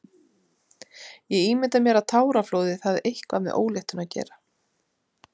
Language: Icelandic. Ég ímynda mér að táraflóðið hafi eitthvað með óléttuna að gera.